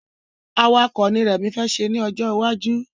Awakọ̀ ni rẹmi fẹ́ ṣe ni ọjọ iwaju